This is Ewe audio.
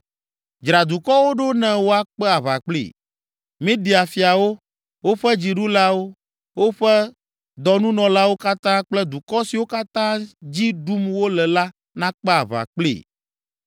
Dzra dukɔwo ɖo ne woakpe aʋa kplii. Media fiawo, woƒe dziɖulawo, woƒe dɔnunɔlawo katã kple dukɔ siwo katã dzi ɖum wole la nakpe aʋa kplii.